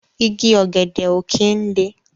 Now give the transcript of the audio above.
Igi ògèdè ó kin lé